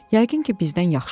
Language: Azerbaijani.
Yəqin ki, bizdən yaxşı.